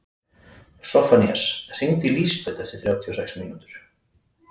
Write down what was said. Soffanías, hringdu í Lísabetu eftir þrjátíu og sex mínútur.